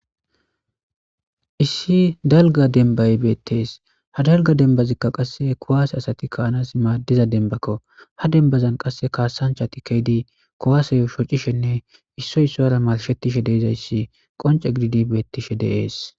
Issi dalga denbay beettees ha dalga denbazikka qasse kowaase asati kaanas maaddiza denbakko ha denbazan qasse kaasancha ti keydi kowaaseyo shocishenne issoy issora malshetishe deizayssi qonce gididi beettishe deees